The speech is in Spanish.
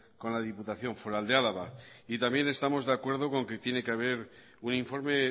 con la diputación foral de álava también estamos de acuerdo con que tiene que haber un informe